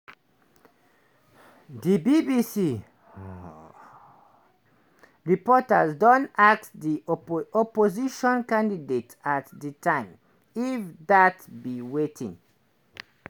di bbc reporter don ask di oppo opposition candidate at di time if dat be wetin